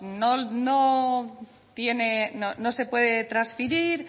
no no no se puede transferir